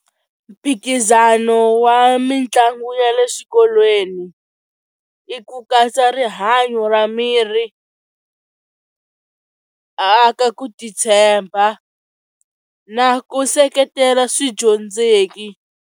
Mphikizano wa mitlangu ya le swikolweni i ku katsa rihanyo ra miri aka titshemba na ku seketela swidyondzeki.